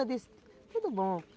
Eu disse, tudo bom.